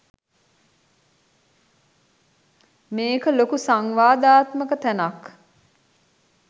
මේක ලොකු සංවාදාත්මක තැනක්